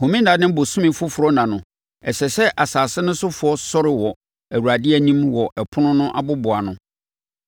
Home nna ne ɔbosome foforɔ nna no, ɛsɛ sɛ asase no sofoɔ sɔre wɔ Awurade anim wɔ ɛpono no aboboano.